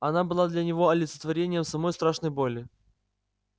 она была для него олицетворением самой страшной боли